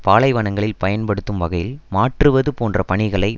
பாலைவனங்களில் பயன்படுத்தும் வகையில் மாற்றுவது போன்ற பணிகளை